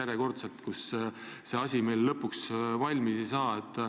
Nii et see asi ei saa meil kuidagi valmis.